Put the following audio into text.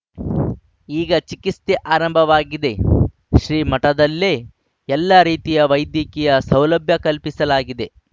ಈಗ ಚಿಕಿತ್ಸೆ ಆರಂಭವಾಗಿದೆ ಶ್ರೀಮಠದಲ್ಲೇ ಎಲ್ಲ ರೀತಿಯ ವೈದ್ಯಕೀಯ ಸೌಲಭ್ಯ ಕಲ್ಪಿಸಲಾಗಿದೆ